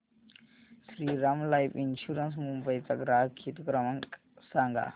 Shriram life insurance Mumbai चा ग्राहक हित क्रमांक सांगा